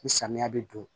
Ni samiya bɛ don